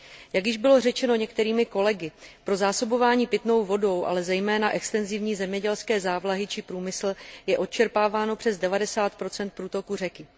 Jak již bylo řečeno některými kolegy, pro zásobování pitnou vodou, ale zejména extenzivní zemědělské závlahy či průmysl je odčerpáváno přes 90 průtoku řeky.